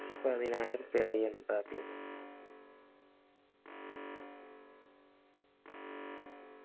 പതിനായിറുപ്പിയല്ലെ എന്താക്കല്